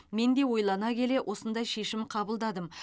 мен де ойлана келе осындай шешім қабылдадым